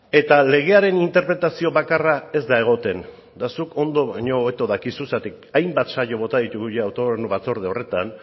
eta legearen interpretazio bakarra ez da egoten eta zuk ondo baino hobeto dakizu zergatik hainbat saio bota ditugu autogobernu batzorde horretan